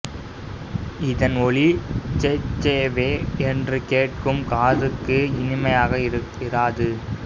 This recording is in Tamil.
இதன் ஒலி சேசேச்வே என்று கேட்கும் காதுக்கு இனிமையாக இராது